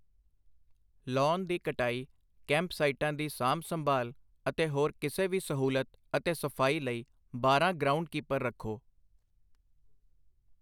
Lawn ਦੀ ਕਟਾਈ, ਕੈਂਪ-ਸਾਈਟਾਂ ਦੀ ਸਾਂਭ ਸੰਭਾਲ ਅਤੇ ਹੋਰ ਕਿਸੇ ਵੀ ਸਹੂਲਤ ਅਤੇ ਸਫ਼ਾਈ ਲਈ ਬਾਰਾਂ ਗਰਾਊਂਡਕੀਪਰ ਰੱਖੋ।